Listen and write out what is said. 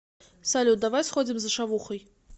салют давай сходим за шавухой